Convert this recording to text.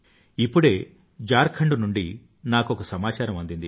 ఇప్పుడే నాకు ఝార్ఖండ్ నుండి నాకొక సమాచారం అందింది